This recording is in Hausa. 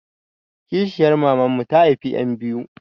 Kishiyar maman mu ta haifa ƴan biyu.